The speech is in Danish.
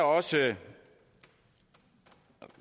også